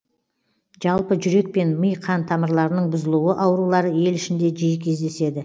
жалпы жүрек пен ми қан тамырларының бұзылуы аурулары ел ішінде жиі кездеседі